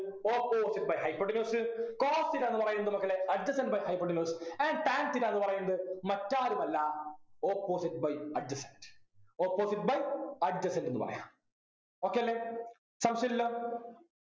opposite by hypotenuse cos theta ന്നു പറയുന്നത് മക്കളെ adjacent by hypotenuse and tan theta ന്നു പറയുന്നത് മറ്റാരുമല്ല opposite by adjacent opposite by adjacent ന്നു പറയാം okay അല്ലെ സംശയമില്ലല്ലോ